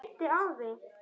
Stór orð og fallega sagt.